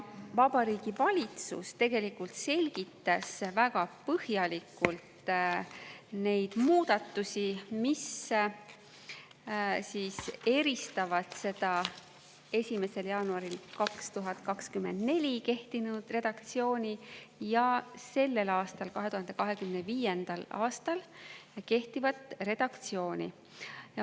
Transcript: Vabariigi Valitsus tegelikult selgitas väga põhjalikult neid muudatusi, mis eristavad seda 1. jaanuaril 2024 kehtinud redaktsiooni ja sellel aastal, 2025. aastal kehtivat redaktsiooni.